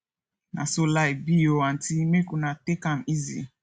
na so life be o aunty make una take am easy